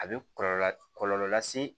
A bɛ kɔlɔlɔ kɔlɔlɔ lase